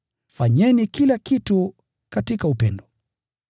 Fanyeni kila kitu katika upendo.